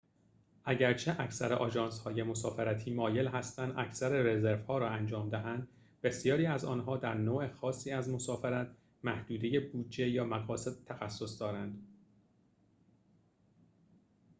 اگرچه اکثر آژانس‌های مسافرتی مایل هستند اکثر رزروها را انجام دهند بسیاری از آنها در نوع خاصی از مسافرت محدوده بودجه یا مقاصد تخصص دارند